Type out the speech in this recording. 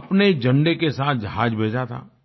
अपने झंडे के साथ जहाज भेजा था